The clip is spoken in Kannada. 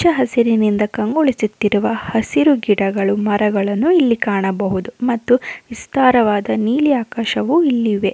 ಹಚ್ಚ ಹಸಿರಿನಿಂದ ಕಂಗೊಳಿಸುತ್ತಿರುವ ಹಸಿರು ಗಿಡಗಳು ಮರಗಳನ್ನು ಇಲ್ಲಿ ಕಾಣಬಹದೂ ಮತ್ತು ವಿಸ್ತಾರವಾಧ ನೀಲಿ ಅಕ್ಷವು ಇಲ್ಲಿ ಇವೆ.